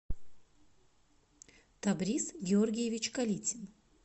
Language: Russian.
табриз георгиевич калитин